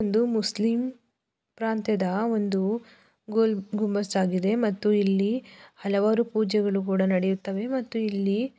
ಇದು ಒಂದು ಮುಸ್ಲಿಂ ಪ್ರಾಂತ್ಯದ ಒಂದು ಗುಲ್ಗುಂಬಜ್ ಆಗಿದೆ ಮತ್ತು ಇಲ್ಲಿ ಹಲವಾರು ಪೂಜೆಗಳು ನಡಿಯುತೇ ಮತ್ತು ಇಲ್ಲಿ--